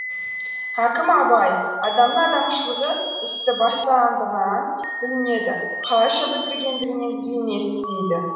хакім абай адамның адамшылығы істі бастағандығынан білінеді қалайша бітіргендігінен емес дейді